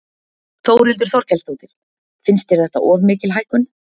Þórhildur Þorkelsdóttir: Finnst þér þetta of mikil hækkun?